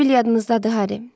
Sibil yadınızdadır Harry?